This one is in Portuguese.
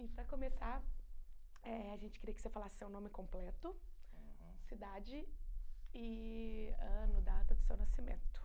E para começar, eh a gente queria que você falasse seu nome completo, uhum cidade e ano, data do seu nascimento.